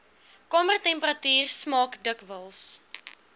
kamertemperatuur smaak dikwels